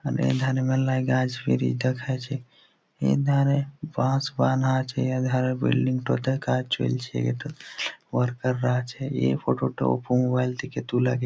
এখানে ধান মেলা গাছ ফ্রি দেখাইছে এ ধারে বাস বাঁধা আছে এর ধারে বিল্ডিং -টাতে কাজ চলছে এতে ওয়ার্কার -রা আছে এই ফটো তো মোবাইল থেকে তোলা।